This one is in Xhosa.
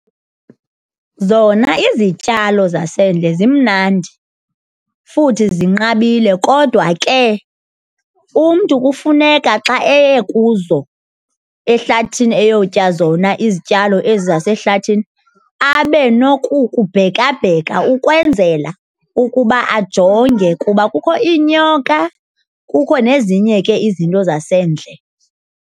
Zona izityalo zasendle zimnandi futhi zinqabile kodwa ke umntu kufuneka xa eye kuzo ehlathini eyotya zona izityalo ezi zasehlathini abe nokukubhekabheka ukwenzela ukuba ajonge kuba kukho iinyoka kukho nezinye ke izinto zasendle.